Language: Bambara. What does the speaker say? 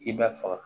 I b'a faga